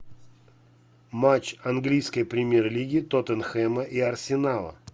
матч английской премьер лиги тоттенхэма и арсенала